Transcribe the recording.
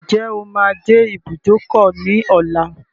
Ǹjẹ́ o máa dé ibùdókọ̀ ní ọlá?